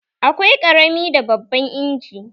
Akwai ƙarami da babban inji